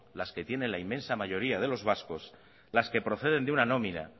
las que tienen la inmensa mayoría de los vascos las que proceden de una nómina